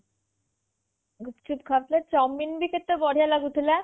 ଗୁପ୍ଚୁପ୍ ଖାଉଥିଲେ chowmein ଭି କେତେ ବଢ଼ିଆ ଲାଗୁଥିଲା